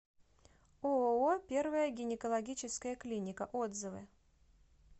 ооо первая гинекологическая клиника отзывы